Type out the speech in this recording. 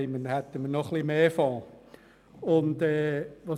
Dann hätten wir noch mehr Fonds.